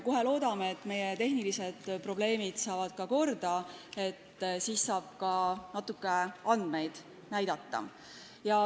Loodame, et tehnilised probleemid saavad kohe korda, siis saab ka natuke andmeid näidata.